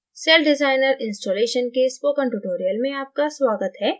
celldesigner installation के spoken tutorial में आपका स्वागत है